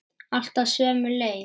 Alltaf sömu leið.